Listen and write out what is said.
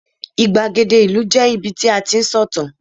igbagede ìlú je ibi tí a ti n sọ ìtàn